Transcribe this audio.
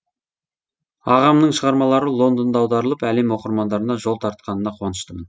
ағамның шығармалары лондонда аударылып әлем оқырмандарына жол тартқанына қуаныштымын